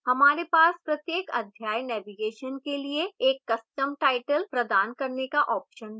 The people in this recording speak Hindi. हमारे पास प्रत्येक अध्याय navigation के लिए एक custom title प्रदान करने का option भी है